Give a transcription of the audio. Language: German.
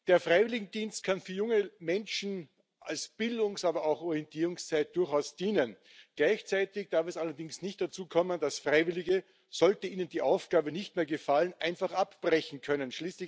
Der Freiwilligendienst kann für junge Menschen als Bildungs aber auch Orientierungszeit durchaus dienen. Gleichzeitig darf es allerdings nicht dazu kommen, dass Freiwillige, sollte ihnen die Aufgabe nicht mehr gefallen, einfach abbrechen können.